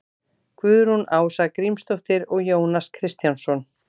guðrún ása grímsdóttir og jónas kristjánsson